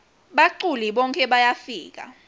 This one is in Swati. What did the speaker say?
baculi bonkhe bayafika